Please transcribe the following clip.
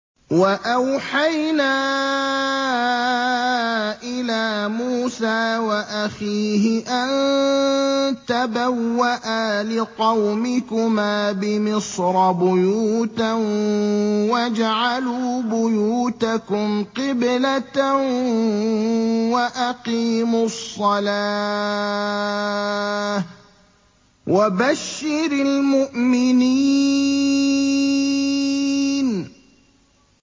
وَأَوْحَيْنَا إِلَىٰ مُوسَىٰ وَأَخِيهِ أَن تَبَوَّآ لِقَوْمِكُمَا بِمِصْرَ بُيُوتًا وَاجْعَلُوا بُيُوتَكُمْ قِبْلَةً وَأَقِيمُوا الصَّلَاةَ ۗ وَبَشِّرِ الْمُؤْمِنِينَ